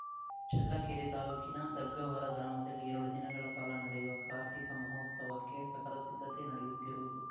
ಚಳ್ಳಕೆರೆ ತಾಲೂಕಿನ ದುಗ್ಗಾವರ ಗ್ರಾಮದಲ್ಲಿ ಎರಡು ದಿನಗಳ ಕಾಲ ನಡೆಯುವ ಕಾರ್ತಿಕಮಹೋತ್ಸವಕ್ಕೆ ಸಕಲ ಸಿದ್ಧತೆ ನಡೆಯುತ್ತಿರುವುದು